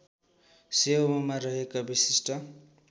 सेवामा रहेका विशिष्ठ